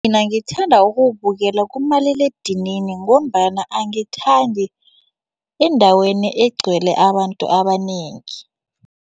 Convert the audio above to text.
Mina ngithanda ukuwubukela kumaliledinini ngombana angithandi endaweni egcwele abantu abanengi.